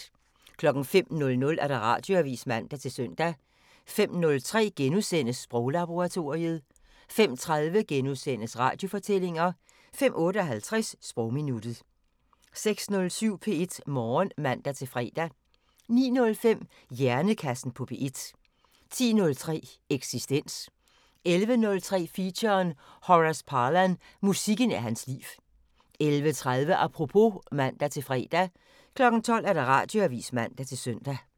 05:00: Radioavisen (man-søn) 05:03: Sproglaboratoriet * 05:30: Radiofortællinger * 05:58: Sprogminuttet 06:07: P1 Morgen (man-fre) 09:05: Hjernekassen på P1 10:03: Eksistens 11:03: Feature: Horace Parlan – musikken er hans liv 11:30: Apropos (man-fre) 12:00: Radioavisen (man-søn)